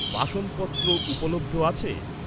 বাসনপত্র উপলব্ধ আছে?